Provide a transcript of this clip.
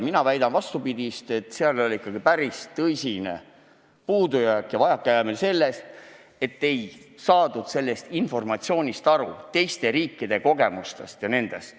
Mina väidan vastupidist – päris tõsine puudujääk ja vajakajäämine oli ikkagi selles, et ei saadud informatsioonist, teiste riikide kogemustest aru.